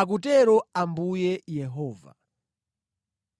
akutero Ambuye Yehova.